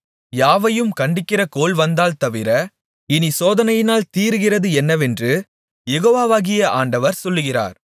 யாவையும் கண்டிக்கிற கோல் வந்தால் தவிர இனிச் சோதனையினால் தீருகிறது என்னவென்று யெகோவாகிய ஆண்டவர் சொல்லுகிறார்